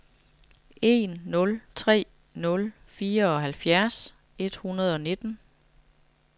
en nul tre nul fireoghalvfjerds et hundrede og nitten